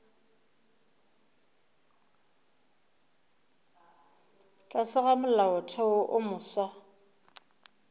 tlase ga molaotheo wo mofsa